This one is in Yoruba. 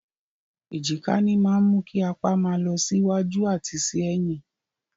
Èjìká ní máa mú kí apa máa mì lọ sí wájú àti sí ẹ̀yìn.